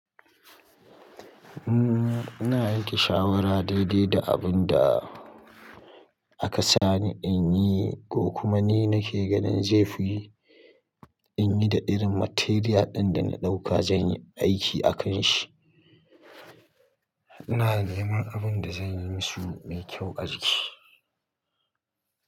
Umm, ina riƙe shawara daidai da abin da aka sani in yi ko kuma ni nake ganin zai fi. In yi da irin material ɗin da na ɗauka zan yi aiki a kan shi. Ina neman abin da zan yi musu mai kyau a jiki.